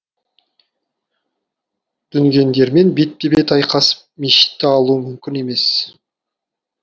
дүнгендермен бетпе бет айқасып мешітті алу мүмкін емес